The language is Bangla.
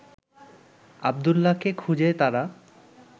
আব্দুল্লাহকেও খুঁজে তারা